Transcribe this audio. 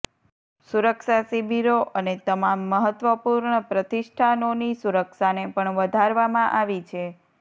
સુરક્ષા શિબિરો અને તમામ મહત્વપૂર્ણ પ્રતિષ્ઠાનોની સુરક્ષાને પણ વધારવામાં આવી છે